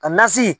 Ka nasi